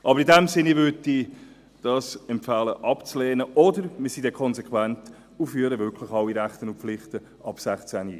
In diesem Sinn empfehle ich, dies abzulehnen, oder, es sei denn, wir wären konsequent und führten wirklich alle Rechte und Pflichten ab 16 ein.